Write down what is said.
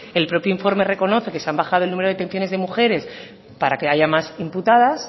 el propio informe reconoce que se han bajado detenciones de mujeres para que haya más imputadas